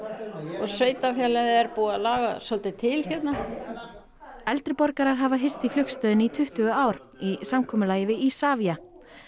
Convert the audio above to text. og sveitarfélagið er búið að laga svolítið til hérna eldri borgarar hafa hist í flugstöðinni í tuttugu ár í samkomulagi við Isavia